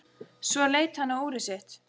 Svo leit hann á úrið sitt.